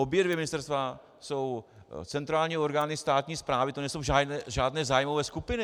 Obě dvě ministerstva jsou centrální orgány státní správy, to nejsou žádné zájmové skupiny.